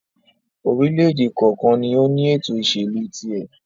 orílẹ̀-èdè kọ̀ọ̀kan ni ó ní ètò-ìsèlú tiẹ̀.